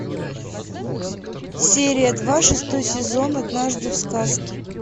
серия два шестой сезон однажды в сказке